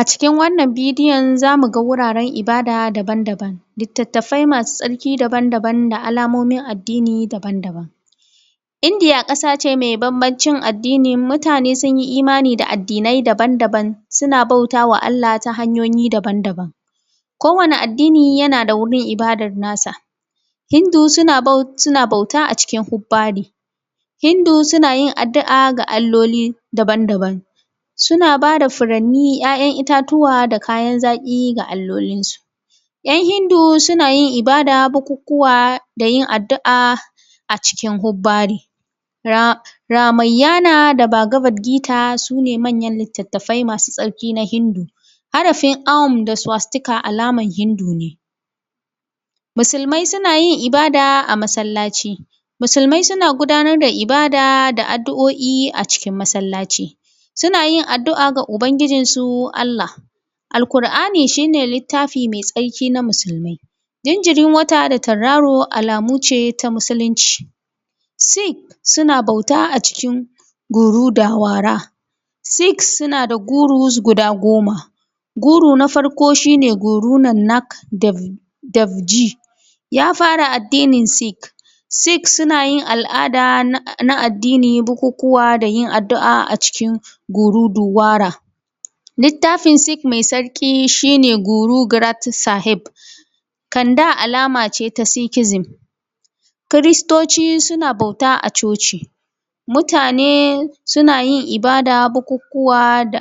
A cikin wannan bidiyon za mu ga wuraren ibada daban daban, littatfai masu tsarki daban daban, da alamomin addini daban daban. Indiya ƙasa ce mai bambancin addini, mutane sun yi imani da addinai daban daban suna bautawa Allah ta hanyoyi daban daban, kowane addini yana da wurin ibadar na sa. Hindu suna bauta a cikin hubbari, hindu suna yin addu’a ga alloli daban daban, suna ba da furanni, ‘ya’yan itatuwa, da kayan zaƙi ga allolin su. ‘yan hindu suna yin ibada, bukukuwa, da yin addu’a a cikin hubbari ramaiyana da babagabgita sune manyan littafai masu tsarki na hindu. Harafin um da suwastika alama na hindu ne. musulmai suna yin ibada a masallaci, musulmai suna gudanar da ibada da addu’oi a cikin masallaci suna yin addu’a ga ubangijinsu Allah. Al ƙur’ani shi ne littafi mai tsarki na musulmai, jinjirin wata, da tauraro alamu ce ta musulunci. Sik suna bauta a cikin gurudawara. Sik suna da guru guda goma guru na farko shine gurunannak dafji ya fara addinin sik. Sik sunayin al’ada na addinin bukukuwa da yin addu’a cikin guruduwara, littafin sik mai tsarki shine guruguratik sahe kanda alamace ta cikizim. Kristoci suna bauta a coci. Mutane suna yin ibada, bukukuwa da